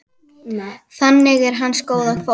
Þannig er hans góða fólk.